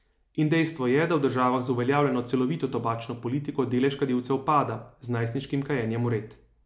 In dejstvo je, da v državah z uveljavljeno celovito tobačno politiko delež kadilcev pada, z najstniškim kajenjem vred.